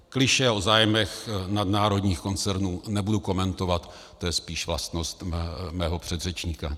Klišé o zájmech nadnárodních koncernů nebudu komentovat, to je spíš vlastnost mého předřečníka.